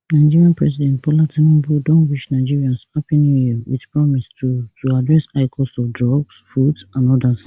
nigeria president bola tinubu don wish nigerians happy new year wit promise to to address high cost of drugs food and odas